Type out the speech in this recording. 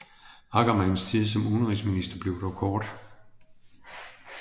Ackermanns tid som udenrigsminister blev dog kort